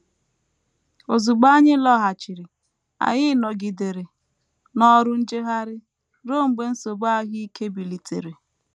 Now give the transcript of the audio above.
Ozugbo anyị lọghachiri, anyị nọgidere n’ọrụ njegharị ruo mgbe nsogbu ahụ ike bilitere.